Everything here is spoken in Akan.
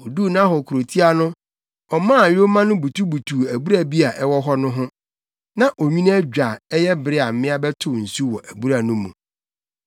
Oduu Nahor kurotia no, ɔmaa yoma no butubutuw abura bi a ɛwɔ hɔ no ho. Na onwini adwo a ɛyɛ bere a mmea bɛtow nsu wɔ abura no mu.